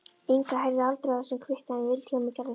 Inga heyrði aldrei af þessum kvitti en Vilhjálmur gerði það.